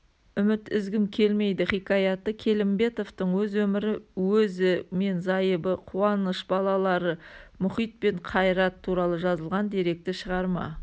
үміт үзгім келмейдіхикаяты келімбетовтың өз өмірі өзі мен зайыбы қуаныш балалары мұхит пен қайрат туралы жазылған деректі шығарма